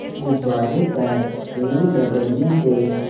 गुब्बारे पर ऊन रगड़ने से